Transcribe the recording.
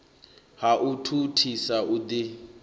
ha u thuthisa u ḓi